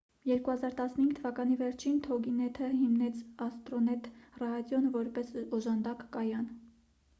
2015 թվականի վերջին թոգինեթը հիմնեց աստրոնեթ ռադիոն որպես օժանդակ կայան